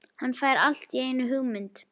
Hann fær allt í einu hugmynd.